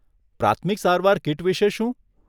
પ્રાથમિક સારવાર કિટ વિશે શું?